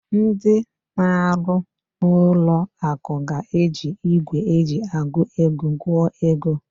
Ndị na-arụ n'ụlọ akụ ga-eji igwe eji agụ ego gụọ ego.